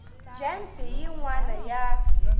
gems hi yin wana ya